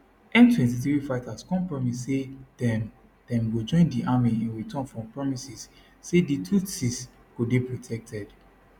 m23 fighters come promise say dem dem go join di army in return for promises say di tutsis go dey protected